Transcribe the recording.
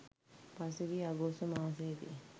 පසුගිය අගෝස්තු මාසයේදී